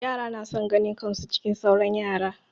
Yara na son ganin kan su cikin sauran yara.